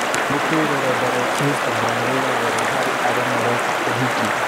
Nĩkĩĩ rũrenda rwa Instagramu rwĩna goro harĩ arĩa mareka ũhiki?